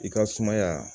I ka sumaya